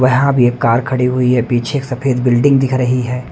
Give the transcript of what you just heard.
वहाँ भी एक कार खड़ी हुई है पीछे एक सफेद बिल्डिंग दिख रही है।